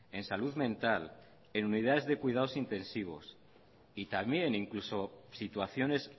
en salud mental en unidades de cuidados intensivos y también incluso situaciones